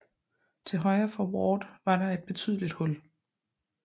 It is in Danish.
Til højre for Ward var der et betydeligt hul